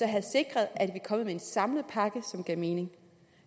have sikret at vi var kommet med en samlet pakke som gav mening